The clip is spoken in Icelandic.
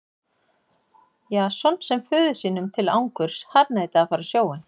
Jason sem föður sínum til angurs harðneitaði að fara á sjóinn.